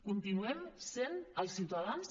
continuem sent els ciutadans